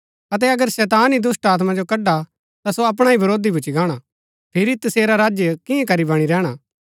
अतै अगर शैतान ही दुष्‍टात्मा जो कड़आ ता सो अपणा ही वरोधी भूच्ची गाणा फिरी तसेरा राज्य किआं करी बणी रैहणा